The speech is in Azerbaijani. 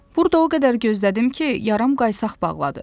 Burda o qədər gözlədim ki, yaram qaysaq bağladı.